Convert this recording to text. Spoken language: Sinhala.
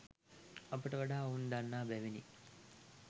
අපට වඩා ඔවුන් දන්නා බැවිනි